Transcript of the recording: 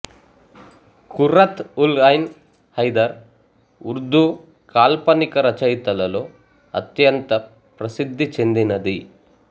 ఖుర్రత్ఉల్ఐన్ హైదర్ ఉర్దూ కాల్పనిక రచయితలలో అత్యంత ప్రసిద్ధి చెందినది